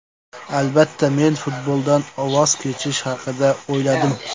Albatta, men futboldan voz kechish haqida o‘yladim.